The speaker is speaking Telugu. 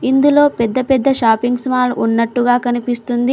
ఇందులో పెద్ద పెద్ద షాపింగ్స్ మాల్ ఉన్నట్టుగా కనిపిస్తుంది.